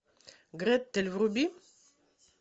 гретель вруби